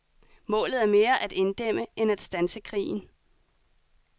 Målet er mere at inddæmme end at standse krigen.